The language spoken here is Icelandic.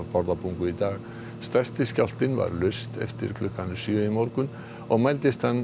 stærsti skjálftinn varð laust eftir klukkan sjö í morgun og mældist hann þrjú komma sjö